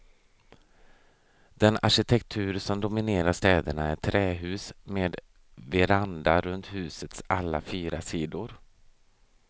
Den arkitektur som dominerar städerna är trähus med veranda runt husets alla fyra sidor.